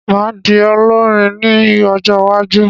Màá di olórin ní ọjọ́wájú